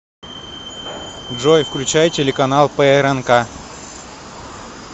джой включай телеканал прнк